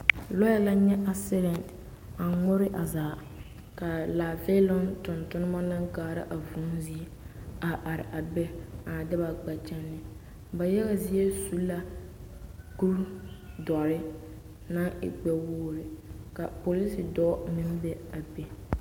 Lɔɛ na nyɛ asidɛnte a ŋmore a zaa k'a lããfeeloŋ tontoma naŋ kaara a vūū zie a are a be a na de ba gbɛkyɛnee, ba yaga zie su la kuri dɔre naŋ e gbɛ-wogiri ka polisi dɔɔ meŋ be a be.